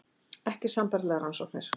Ekki sambærilegar rannsóknir